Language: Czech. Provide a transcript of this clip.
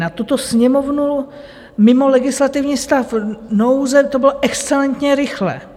Na tuto Sněmovnu mimo legislativní stav nouze to bylo excelentně rychle.